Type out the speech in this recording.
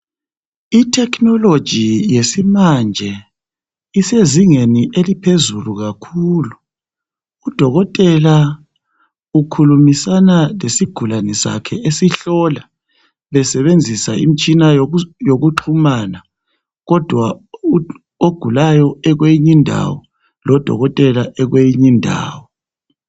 Ithekhinoloji yesimanje isezingeni eliphezulu kakhulu. Udokotela ukhulumisana lesigulani sakhe esihlola besebenzisa imtshina yokuchumana kodwa ogulayo ekweyinye indawo , lodokotela ekweyinye indawo.